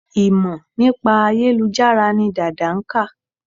Ìmọ̀ nípa ayélujára ni Dàda nkà